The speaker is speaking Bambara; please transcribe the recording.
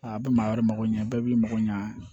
A bɛ maa wɛrɛ mago ɲa bɛɛ b'i mago ɲa